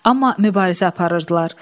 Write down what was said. Amma mübarizə aparırdılar.